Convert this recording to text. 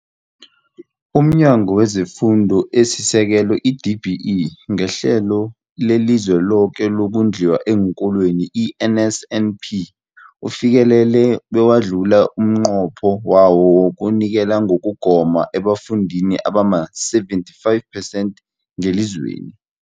UmNyango wezeFundo esiSekelo, i-DBE, ngeHlelo leliZweloke lokoNdliwa eenKolweni, i-NSNP, ufikelele bewadlula umnqopho wawo wokunikela ngokugoma ebafundini abama-75 percent ngelizweni.